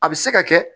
A bɛ se ka kɛ